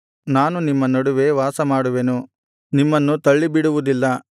ನಾನು ನಿಮ್ಮ ನಡುವೆ ವಾಸಮಾಡುವೆನು ನಿಮ್ಮನ್ನು ತಳ್ಳಿಬಿಡುವುದಿಲ್ಲ